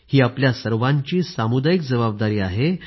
ही आपल्या सर्वांची सामुदायिक जबाबदारी आहे